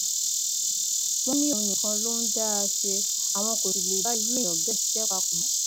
wọn ní òun nìkan ló ń dá a ṣe àwọn kò sì lè bá irú èèyàn bẹẹ ṣiṣẹ papọ mọ